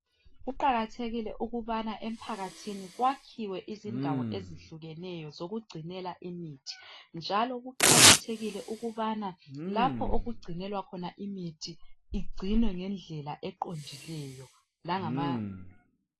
Kuqakathekile ukubana emphakathini kuwakhiwe izindawo ezehlukeneyo zokugcinela imithi njalo kuqakathekile ukubana lapho okugcinelwa khona imithi igcinwe ngendlela eqondileyo langama.